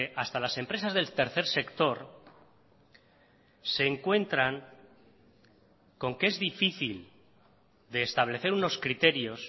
hasta las empresas del tercer sector se encuentran con que es difícil de establecer unos criterios